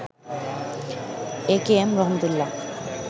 AKM Rahmat Ullah